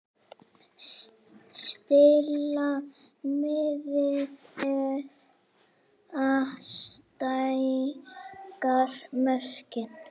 Stilla miðið eða stækka mörkin?